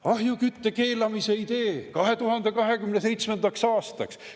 Ahjukütte keelamise idee 2027. aastaks.